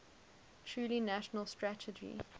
truly national strategy